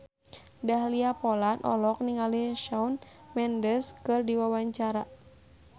Dahlia Poland olohok ningali Shawn Mendes keur diwawancara